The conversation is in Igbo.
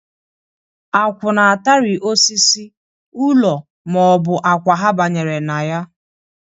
Akwụ na-atari osisi, ụlọ ma ọ bụ akwa ha banyere na ya.